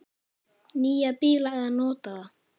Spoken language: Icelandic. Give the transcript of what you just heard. Nýja bíla eða notaða?